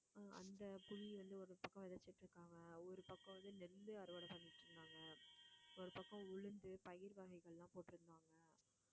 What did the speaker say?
அந்த புளி வந்து ஒரு பக்கம் விதைச்சுட்டு இருக்காங்க ஒரு பக்கம் நெல்லு அறுவடை பண்ணிட்டு இருந்தாங்க ஒரு பக்கம் உளுந்து, பயிர் வகைகள் எல்லாம் போட்டிருந்தாங்க